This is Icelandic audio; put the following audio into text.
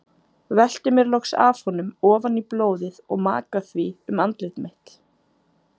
Velti mér loks af honum ofan í blóðið og maka því um andlit mitt.